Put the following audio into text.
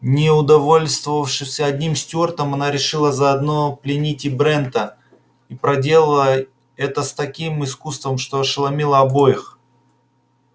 не удовольствовавшись одним стюартом она решила заодно пленить и брента и проделала это с таким искусством что ошеломила обоих